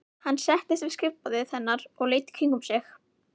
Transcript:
Hann settist við skrifborðið hennar og leit í kringum sig.